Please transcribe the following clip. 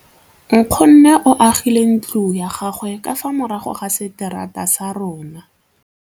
Nkgonne o agile ntlo ya gagwe ka fa morago ga seterata sa rona.